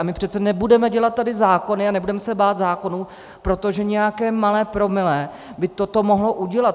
A my přece nebudeme dělat tady zákony a nebudeme se bát zákonů, protože nějaké malé promile by toto mohlo udělat.